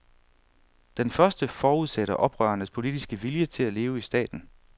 Den første forudsætter oprørernes politiske vilje til at leve i staten.